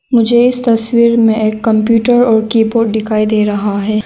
मुझे इस तस्वीर में एक कंप्यूटर और की बोड दिखाई दे रहा है।